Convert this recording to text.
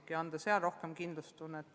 Ka seal on hädavajalik anda rohkem kindlustunnet.